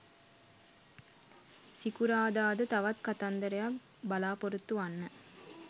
සිකුරාදා ද තවත් කතන්දරයක් බලාපොරොත්තු වන්න.